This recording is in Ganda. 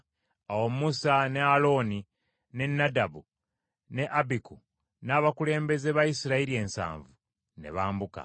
Awo Musa ne Alooni, ne Nadabu, ne Abiku, n’abakulembeze ba Isirayiri ensanvu, ne bambuka;